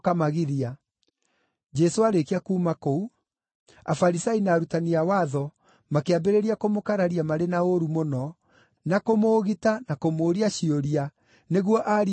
Jesũ aarĩkia kuuma kũu, Afarisai na arutani a watho makĩambĩrĩria kũmũkararia marĩ na ũũru mũno na kũmũũgita na kũmũũria ciũria nĩguo aarie maũndũ maingĩ,